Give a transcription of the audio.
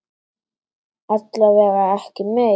Alla vega ekki meir.